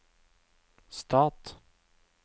stat